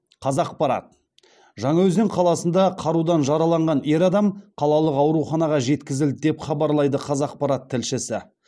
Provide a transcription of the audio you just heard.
қазақпарат жаңаөзен қаласында қарудан жараланған ер адам қалалық ауруханаға жеткізілді деп хабарлайды қазақпарат тілшісі